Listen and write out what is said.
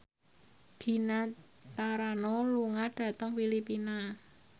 Gina Carano lunga dhateng Filipina